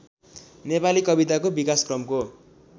नेपाली कविताको विकासक्रमको